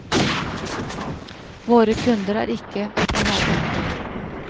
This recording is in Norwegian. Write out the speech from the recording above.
Våre kunder er ikke i nærmarkedet.